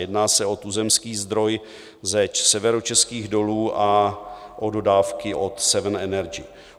Jedná se o tuzemský zdroj ze Severočeských dolů a o dodávky od Sev.en Energy.